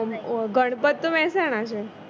ગણપત તો મેહસાણા છે